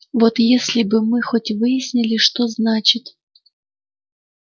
вот если бы мы хоть выяснили что значит